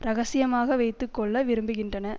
இரகசியமாக வைத்து கொள்ள விரும்புகின்றன